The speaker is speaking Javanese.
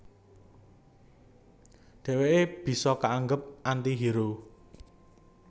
Dhèwèké bisa kaanggep anti hero